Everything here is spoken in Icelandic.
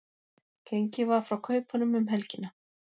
Gengið var frá kaupunum um helgina